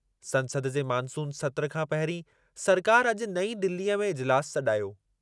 संसद जे मानसून सत्रु खां पहिरीं सरकारि अॼु नईं दिलीअ में इजिलासु सॾायो।